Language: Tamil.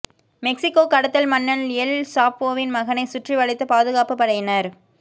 மெக்சிகோ கடத்தல் மன்னன் எல் சாப்போவின் மகனை சுற்றிவளைத்த பாதுகாப்புப் படையினர்